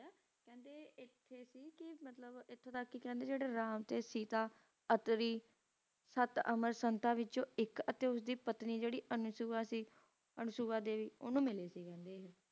ਤੇ ਇਥੋਂ ਤਕ ਕਹਿੰਦੇ ਕ ਜ਼ੀਰੇ ਰਾਮ ਤੇ ਸੀਤਾ ਹੈਂ ਅੱਤ ਦੀ ਅਸ਼ੁਵਿਆ ਤੋਂ ਇਕ ਪਤਨੀ ਸੀ ਜੈਰੀ ਉਣਹਣੁ ਮਿੱਲੇ